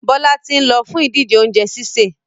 Bọ́lá ti ń lọ fún ìdíje oúnjẹ sísè.